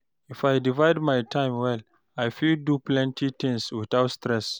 If I divide my time well, I fit do plenty things without stress.